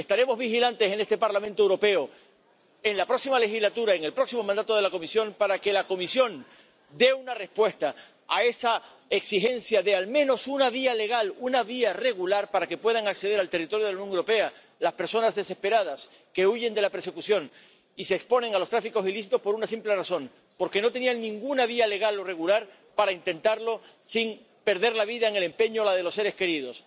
Estaremos vigilantes en este Parlamento Europeo en la próxima legislatura y en el próximo mandato de la Comisión para que la Comisión dé una respuesta a esa exigencia de al menos una vía legal, una vía regular para que puedan acceder al territorio de la Unión Europea las personas desesperadas que huyen de la persecución y se exponen a los tráficos ilícitos por una simple razón porque no tenían ninguna vía legal o regular para intentarlo sin perder la vida en el empeño, o la de sus seres queridos.